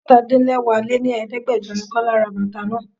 Àádọ́ta -din-lẹwá lé ní Ẹ̀ẹ́dẹ́gbẹjọ ni Kọ́lá ra bàtà náà.